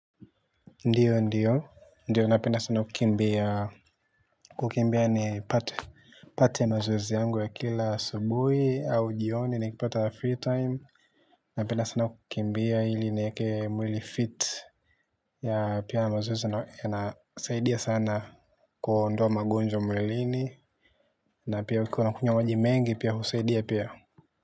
Ndiyo, ndiyo. Ndiyo, napenda sana kukimbia. Kukimbea nipate. Pate mazoezi yangu ya kila asubuhi au jioni na nikipata free time. Napenda sana kukimbia ili nieke mwili fit ya pia mazoezi yanasaidia sana kuondoa magonjwa mwilini. Na pia ukiwa unakunywa maji mengi pia husaidia pia.